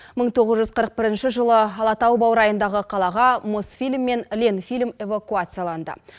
мың тоғыз жүз қырық бірінші жылы алатау баурайындағы қалаға мосфильм мен ленфильм эвакуацияланды